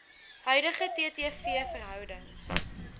huidige ttv verhouding